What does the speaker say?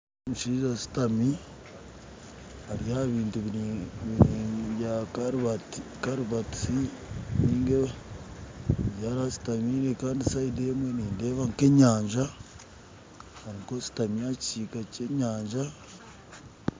Omushaija ashutami ari aha bintu biri bya karuvatisi ari aha ashutami kandi side emwe nindeeba nka enyanja ariho ashutamire aha kisiika kya enyanja